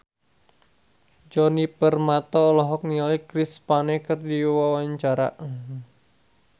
Djoni Permato olohok ningali Chris Pane keur diwawancara